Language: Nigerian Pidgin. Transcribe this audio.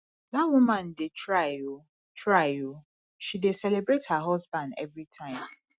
dat woman dey try oo try oo she dey celebrate her husband every time